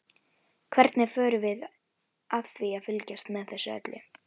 Hvernig förum við að því að fylgjast með þessu öllu?